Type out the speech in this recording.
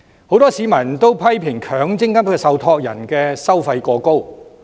很多市民也批評，強積金受託人的收費過高。